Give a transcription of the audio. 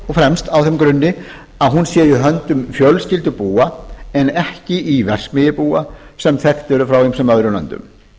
fremst á þeim grunni að hún sé í höndum fjölskyldubúa en ekki verksmiðjubúa sem þekkt eru frá ýmsum öðrum löndum það